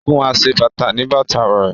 O fún aṣebàtà ní bàtà rẹ̀